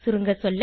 சுருங்கசொல்ல